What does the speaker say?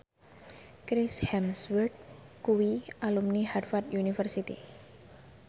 Chris Hemsworth kuwi alumni Harvard university